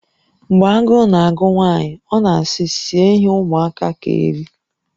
Mgbe agụụ na-agụ nwaanyị, ọ na-asị, 'Sie ihe ụmụaka ga-eri.